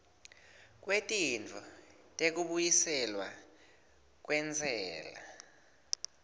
kwetintfo tekubuyiselwa kwentsela